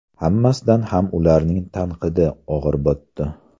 Hammasidan ham ularning tanqidi og‘ir botdi.